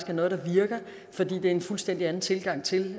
er noget der virker for det er en fuldstændig anden tilgang til